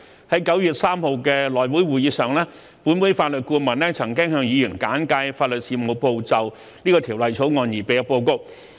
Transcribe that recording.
在9月3日的內會會議上，本會法律顧問曾向議員簡介法律事務部就《條例草案》擬備的報告。